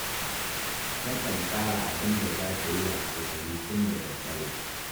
Takan tsara abin da za ta yi washegari tun da daddare